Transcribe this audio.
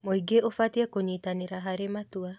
Mũingĩ ũbatiĩ kũnyitanĩra harĩ matua.